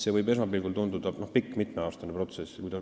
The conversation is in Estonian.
See võib esmapilgul tunduda pikk, mitmeaastane protsess.